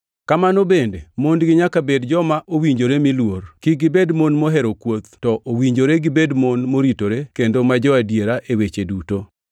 Kamano bende, mondgi nyaka bed joma owinjore mi luor, kik gibed mon mohero kuoth, to owinjore gibed mon moritore kendo ma jo-adiera e weche duto.